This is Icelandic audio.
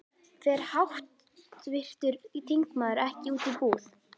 Fer háttvirtur þingmaður ekki út í búð?